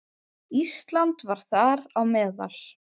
Ísland var þar á meðal.